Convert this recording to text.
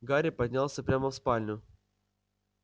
гарри поднялся прямо в спальню